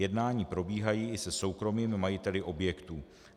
Jednání probíhají i se soukromými majiteli objektů.